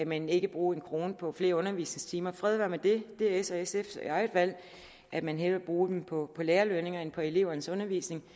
men ikke bruge en krone mere på flere undervisningstimer fred være med det det er s’ og sf’s eget valg at man hellere vil bruge dem på lærerlønninger end på elevernes undervisning